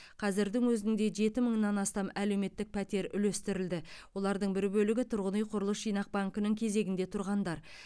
қазірдің өзінде жеті мыңнан астам әлеуметтік пәтер үлестірілді олардың бір бөлігі тұрғын үй құрылыс жинақ банкінің кезегінде тұрғандар